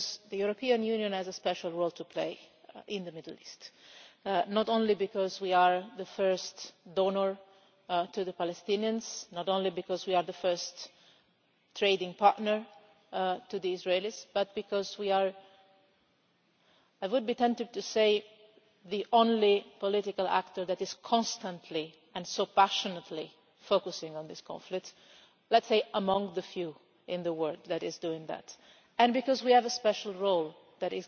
The European Union has a special role to play in the Middle East, not only because we are the first donor to the Palestinians and not only because we are the first trading partner to the Israelis, but because we are, I would be tempted to say, the only political actor that is constantly and so passionately focusing on this conflict let us say that we are among the few in the world doing that and because we have a special role that